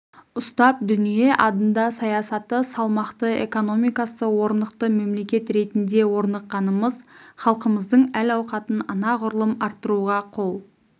ұстап дүние адында саясаты салмақты экономикасы орнықты мемлекет ретінде орныққанымыз халқымыздың әл-ауқатын анағұрлым арттыруға қол